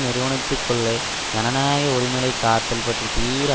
நிறுவனத்துகுள்ளே ஜனநாயக உரிமைளை காத்தல் பற்றி தீவிர